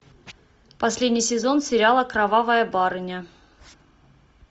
последний сезон сериала кровавая барыня